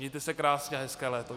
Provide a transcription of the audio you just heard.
Mějte se krásně a hezké léto.